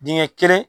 Dingɛ kelen